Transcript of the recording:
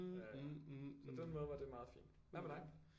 Så på den måde var det meget fint hvad med dig